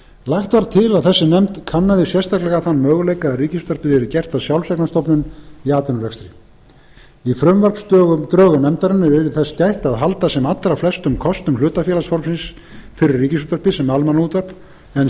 lagt var til að þessi nefnd kannaði sérstaklega þann möguleika að ríkisútvarpið yrði gert að sjálfseignarstofnun í atvinnurekstri í frumvarpsdrögum nefndarinnar yrði þess gætt að halda sem allra flestum kostum hlutafélagsformsins fyrir ríkisútvarpið sem almannaútvarp en